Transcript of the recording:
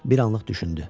Bir anlıq düşündü.